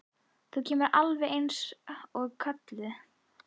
Þú kemur alveg eins og kölluð!